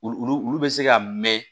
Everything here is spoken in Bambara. Olu olu bɛ se ka mɛn